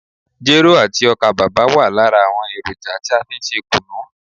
Jero àti ọ́kà bàbà wa lára àwọn èròjà tí a fí n ṣe kùnú.